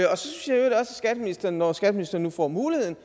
skatteministeren når skatteministeren nu får muligheden